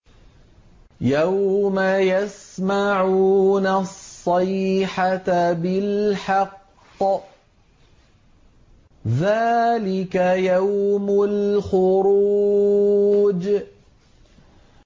يَوْمَ يَسْمَعُونَ الصَّيْحَةَ بِالْحَقِّ ۚ ذَٰلِكَ يَوْمُ الْخُرُوجِ